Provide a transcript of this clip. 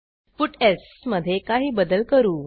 puts मधे काही बदल करू